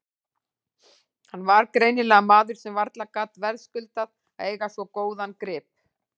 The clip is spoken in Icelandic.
Hann var greinilega maður sem varla gat verðskuldað að eiga svo góðan grip.